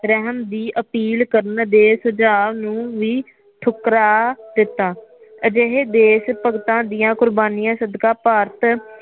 ਰਹਿਮ ਦੀ ਅਪੀਲ ਕਰਨ ਦੇ ਸੁਜਾਅ ਨੂੰ ਵੀ ਠੁਕਰਾ ਦਿਤਾ ਅਜੇਹੇ ਦੇਸ਼ ਭਗਤਾ ਦੀਆਂ ਕੁਰਬਾਣੀਆਂ ਸਦਕਾ ਭਾਰਤ